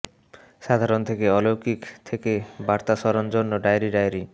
সাধারণ থেকে অলৌকিক থেকে বার্তা স্মরণ জন্য ডায়েরি ডায়েরি